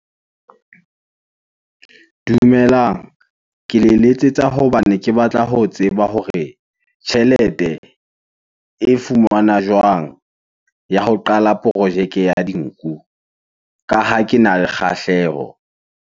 Dumelang. Ke le letsetsa hobane ke batla ho tseba hore tjhelete e fumanwa jwang ya ho qala projeke ya dinku ka ha kena le kgahleho?